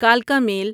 کلکا میل